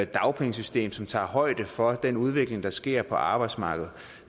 dagpengesystem som tager højde for den udvikling der sker på arbejdsmarkedet